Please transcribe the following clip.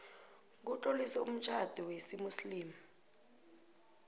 kutloliswe umtjhado wesimuslimu